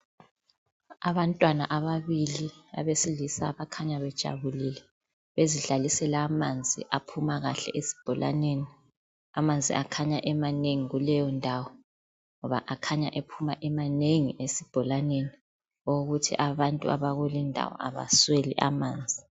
Abantwana ababili abesilisa bakhanya bejabulile bezidlalisela amanzi aphuma kahle esibholaneni. Amanzi akhanya emanengi kuleyo ndawo ngoba akhanya ephuma emanengi esibholaneni okokuthi abantu abakulindawo abasweli amanzi.